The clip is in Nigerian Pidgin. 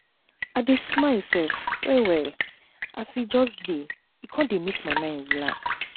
i dey smile um wellwell as e um dey e um dey make my mind relax